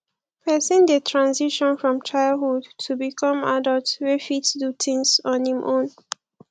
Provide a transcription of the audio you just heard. person dey transition from childhood to become adult wey fit do things on im own